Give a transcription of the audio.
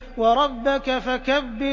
وَرَبَّكَ فَكَبِّرْ